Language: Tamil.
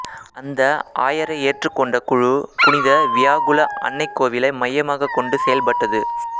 அந்த ஆயரை ஏற்றுக்கொண்ட குழு புனித வியாகுல அன்னைக் கோவிலை மையமாகக் கொண்டு செயல்பட்டது